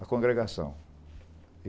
A congregação.